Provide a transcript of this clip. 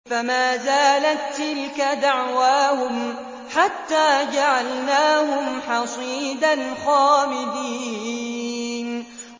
فَمَا زَالَت تِّلْكَ دَعْوَاهُمْ حَتَّىٰ جَعَلْنَاهُمْ حَصِيدًا خَامِدِينَ